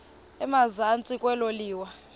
emazantsi elo liwa